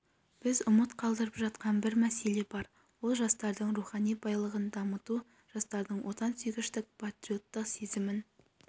біз ұмыт қалдырып жатқан бір мәселе бар ол жастардың рухани байлығын дамыту жастардың отансүйгіштік патриоттық сезімін